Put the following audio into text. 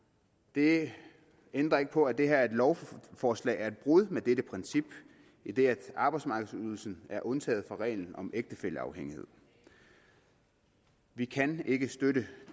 det ændrer ikke på at det her lovforslag er et brud med det princip idet arbejdsmarkedsydelsen er undtaget fra reglen om ægtefælleafhængigheden vi kan ikke støtte